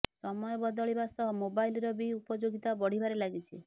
ସମୟ ବଦଳିବା ସହ ମୋବାଇଲର ବି ଉପଯୋଗିତା ବଢିବାରେ ଲାଗିଛି